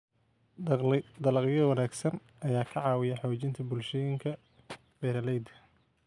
Dalagyo wanaagsan ayaa ka caawiya xoojinta bulshooyinka beeralayda.